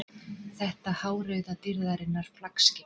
Þetta hárauða dýrðarinnar flaggskip.